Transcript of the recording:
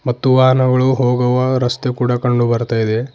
ಮತ್ತು ವಾಹನಗಳು ಹೋಗುವ ರಸ್ತೆ ಕೂಡ ಕಂಡು ಬರ್ತಾ ಇದೆ.